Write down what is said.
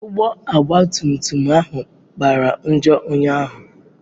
Ụgbọ ogba tum tum ahụ kpara njọ ụnyahụ.